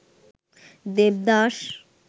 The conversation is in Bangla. দেবদাস